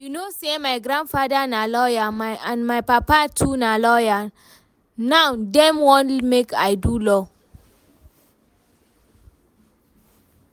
You know say my grandfather na lawyer and my papa too na lawyer, now dem wan make I do law